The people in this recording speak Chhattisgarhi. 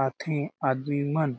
आथे आदमी मन